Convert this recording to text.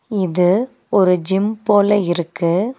இது ஒரு ஜிம் போல இருக்கு.